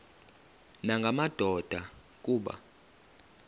nanga madoda kuba